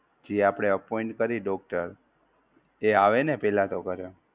જી આપણે appoint કરીયે doctor એ આવે ને પેહલા તો ઘરે